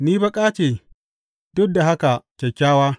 Ni baƙa ce, duk da haka kyakkyawa.